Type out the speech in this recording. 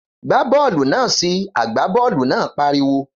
Gbá bọ́ọ̀lù náà si! Àgbá bọ́ọ̀lù náà pariwo.